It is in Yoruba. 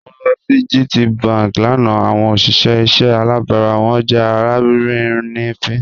Mo lọ sí GTBank lánà awọn ọṣìṣẹ̀ ìṣẹ̀ àlàbárà wọn jẹ́ alárìínińfín.